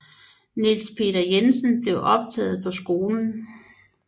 Niels Peter Jensen blev optaget på skolen